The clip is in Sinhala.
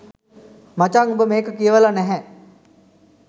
මචං උඹ මේක කියවලා නැහැ.